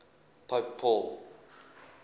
pope paul